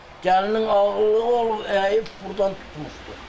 Gəlinin ağlı olub əyib burdan tutmuşdu.